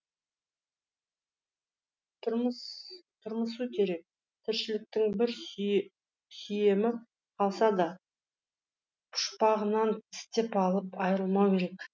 тырмысу керек тіршіліктің бір сүйемі қалса да пұшпағынан тістеп алып айрылмау керек